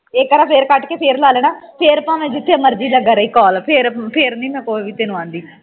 ਇਕ ਵਾਰ ਫੇਰ ਕੱਟ ਕੇ ਫੇਰ ਲਾ ਲੈਣਾ ਫੇਰ ਭਾਵੇਂ ਜਿੱਥੇ ਮਰਜ਼ੀ ਲੱਗਾ ਰਵੀ call ਫੇਰ ਫੇਰ ਮੈਂ ਨਹੀਂ ਤੈਨੂੰ ਕੁਝ ਵੀ ਆਦੀ